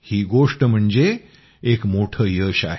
ही गोष्ट म्हणजे एक मोठं यश आहे